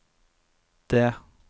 D